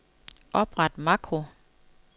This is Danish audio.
Opret makro.